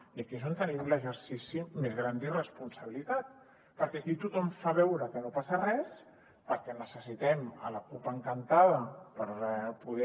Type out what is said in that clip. i aquí és on tenim l’exercici més gran d’irresponsabilitat perquè aquí tothom fa veure que no passa res perquè necessitem la cup encantada per poder